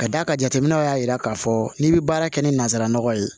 Ka d'a kan jateminɛw y'a yira k'a fɔ n'i bɛ baara kɛ ni nanzara nɔgɔ ye